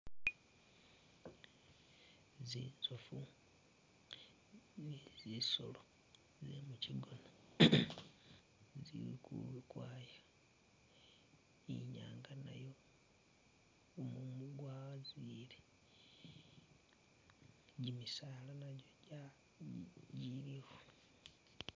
Zinzofu ni zisolo ze mukigona zili ukwaya ni i'nyaanga nayo gumumu gwazile, gimisaala nagyo giliwo.